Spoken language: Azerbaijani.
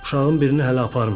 Uşağın birini hələ aparmayıblar.